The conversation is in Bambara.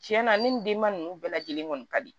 Tiɲɛna ne nin denba ninnu bɛɛ lajɛlen kɔni ka di